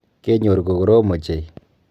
Kenyor ko korom ochei.